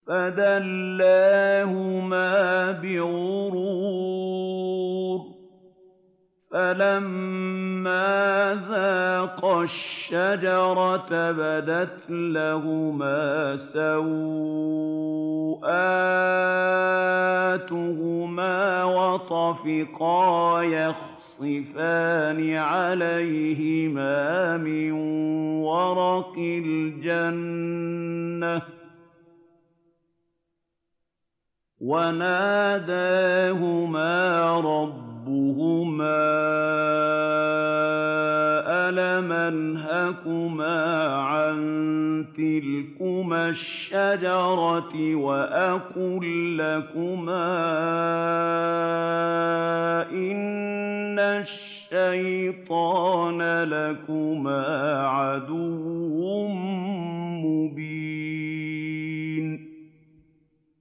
فَدَلَّاهُمَا بِغُرُورٍ ۚ فَلَمَّا ذَاقَا الشَّجَرَةَ بَدَتْ لَهُمَا سَوْآتُهُمَا وَطَفِقَا يَخْصِفَانِ عَلَيْهِمَا مِن وَرَقِ الْجَنَّةِ ۖ وَنَادَاهُمَا رَبُّهُمَا أَلَمْ أَنْهَكُمَا عَن تِلْكُمَا الشَّجَرَةِ وَأَقُل لَّكُمَا إِنَّ الشَّيْطَانَ لَكُمَا عَدُوٌّ مُّبِينٌ